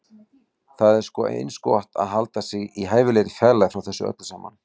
Það er sko eins gott að halda sig í hæfilegri fjarlægð frá þessu öllu saman.